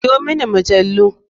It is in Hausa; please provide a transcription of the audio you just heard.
Siyo mini majalu.